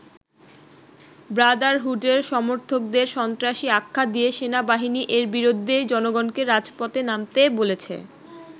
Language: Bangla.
ব্রাদারহুডের সমর্থকদের সন্ত্রাসী আখ্যা দিয়ে সেনাবাহিনী এর বিরুদ্ধে জনগণকে রাজপথে নামতে বলেছে।